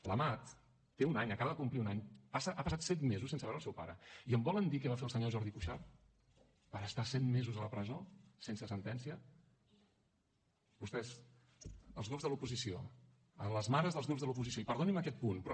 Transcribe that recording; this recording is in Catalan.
l’amat té un any acaba de complir un any ha passat set mesos sense veure el seu pare i em volen dir què va fer el senyor jordi cuixart per estar set mesos a la presó sense sentència vostès els grups de l’oposició a les mares dels grups de l’oposició i perdonin me aquest punt però